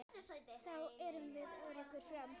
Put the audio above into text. Þá erum við öruggir áfram.